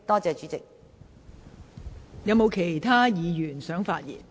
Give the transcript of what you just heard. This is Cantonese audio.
是否有其他委員想發言？